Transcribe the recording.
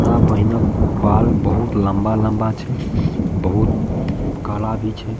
बड़ा बढ़िया बाल बहुत लम्बा-लम्बा छै बहुत काला भी छै।